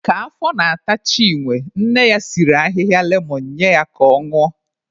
Ka afọ na-ata Chinwe, nne ya siri ahịhịa lemon nye ya ka ọ ñụọ.